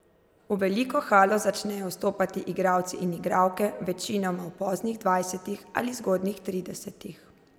V veliko halo začnejo vstopati igralci in igralke, večinoma v poznih dvajsetih ali zgodnjih tridesetih.